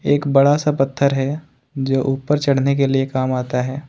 एक बड़ा सा पत्थर है जो ऊपर चढ़ने के लिए काम आता है।